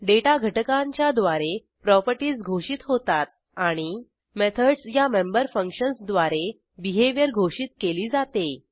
data घटकांच्या द्वारे properties घोषित होतात आणि मेथडस या मेंबर फंक्शन्स द्वारे बिहेवियर घोषित केली जाते